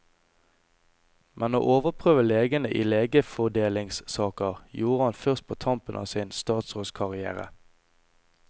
Men å overprøve legene i legefordelingssaker gjorde han først på tampen av sin statsrådskarrière.